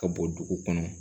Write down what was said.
Ka bɔ dugu kɔnɔ